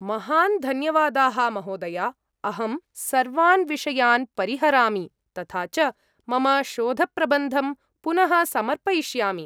महान् धन्यवादाः, महोदया, अहं सर्वान् विषयान् परिहरामि, तथा च मम शोधप्रबन्धं पुनः समर्पयिष्यामि।